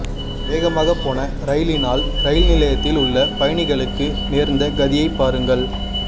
வேகமா போன ரயிலினால் ரயில்நிலையத்தில் உள்ள பயணிகளுக்கு நேர்ந்த கதியை பாருங்கள்